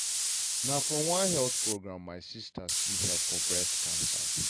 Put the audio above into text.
na from one health program my sister see help for breast cancer.